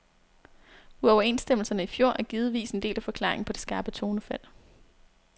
Uoverenstemmelserne i fjor er givetvis en del af forklaringen på det skarpe tonefald.